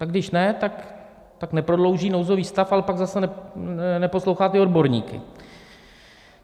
A když ne, tak neprodlouží nouzový stav, ale pak zase neposlouchá ty odborníky.